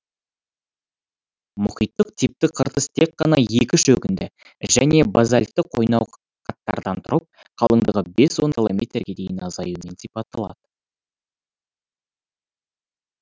мұхиттық типті қыртыс тек қана екі шөгінді және базальтті қойнауқаттардан тұрып қалыңдығы бес он километрге дейін азаюымен сипатталады